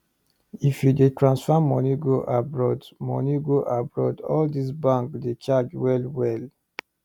if you dey transfer money go abroad money go abroad all these bank dey charge well well